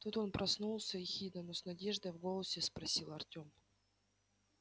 тут он проснулся ехидно но с надеждой в голосе спросил артем